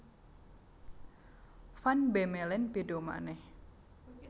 Van Bemmelen béda manèh